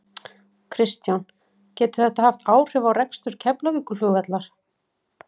Kristján: Getur þetta haft áhrif á rekstur Keflavíkurflugvallar?